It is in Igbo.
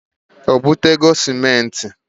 O butego simenti?